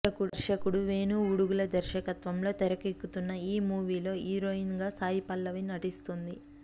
దర్శకుడు వేణు ఉడుగుల దర్శకత్వంలో తెరకెక్కుతున్న ఈ మూవీలో హీరోయిన్ గా సాయి పల్లవి నటిస్తుంది